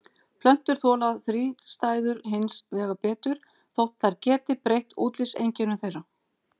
Plöntur þola þrístæður hins vegar betur þótt þær geti breytt útlitseinkennum þeirra.